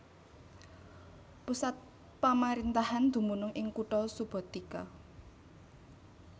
Pusat pamaréntahan dumunung ing kutha Subotica